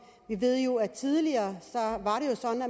vi ved jo at tidligere